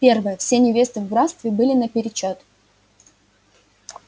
первое все невесты в графстве были наперечёт